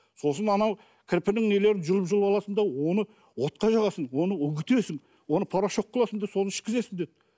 сосын анау кірпінің нелерін жұлып жұлып аласың да оны отқа жағасың оны үгітесің оны порошок қыласың да соны ішкізесің деді